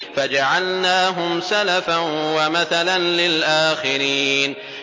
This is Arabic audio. فَجَعَلْنَاهُمْ سَلَفًا وَمَثَلًا لِّلْآخِرِينَ